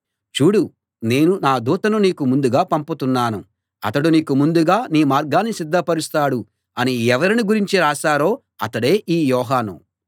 చూడు నేను నా దూతను నీకు ముందుగా పంపుతున్నాను అతడు నీకు ముందుగా నీ మార్గాన్ని సిద్ధపరుస్తాడు అని ఎవరిని గురించి రాశారో అతడే ఈ యోహాను